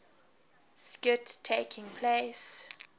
skit taking place